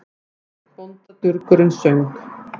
Einn bóndadurgurinn söng